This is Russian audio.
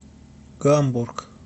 гамбург